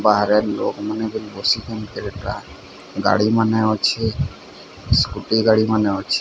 ବାହାରେ ଲୋକମାନେ ବୋଲି ବସିଛନ୍ତି ଗାଡ଼ିମାନେ ଅଛି ସ୍କୁଟି ଗାଡ଼ିମାନେ ଅଛି।